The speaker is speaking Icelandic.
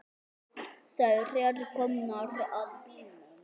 Þær eru komnar að bílnum.